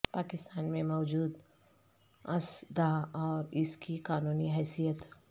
پاکستان میں موجود اژدھا اور اس کی قانونی حثیت